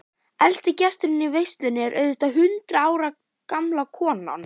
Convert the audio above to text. Elsti gesturinn í veislunni er auðvitað hundrað ára gamla konan.